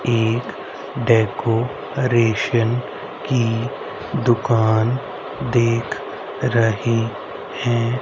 एक डेकोरेशन की दुकान देख रही है।